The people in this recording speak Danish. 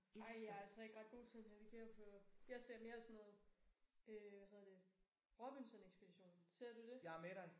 Ej jeg er altså ikke ret god til at navigere på jeg ser mere sådan noget øh hvad hedder det Robinson Ekspeditionen. Ser du det?